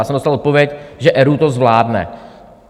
Já jsem dostal odpověď, že ERÚ to zvládne.